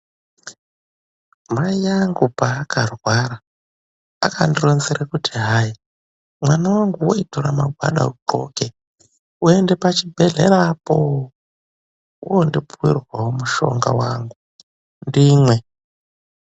Mai angu paakarwara akandironzera kuti hai mwanangu tora magwada udhloke uende pachibhedhlera apo wondipuwirwawo mushonga wangu ndimwe.